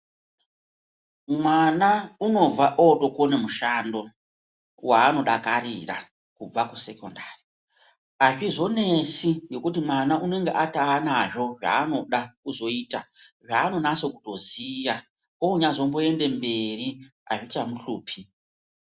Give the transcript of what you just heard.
Mwana unobva ootokone mushando waanodakarira kubva kusekondari. Hazvizonesi ngeokuti mwana unenge ataanazvo zvaanoda kuzoita, zvaanonase kutoziya. Oozonyaandoende mberi, hazvichamuhlupi.